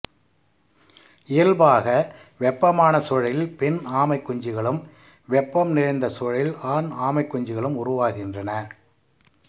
இயல்பாக வெப்பமான சூழலில் பெண் ஆமைக் குஞ்சுகளும் வெப்பம் குறைந்த சூழலில் ஆண் ஆமைக் குஞ்சுகளும் உருவாகின்றன